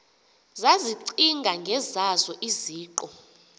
zazicinga ngezazo iziqu